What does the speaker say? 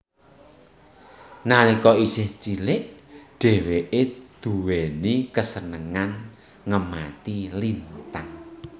Nalika isih cilik dheweke duwéni kasenengan ngemati lintang